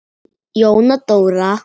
Jóna Dóra.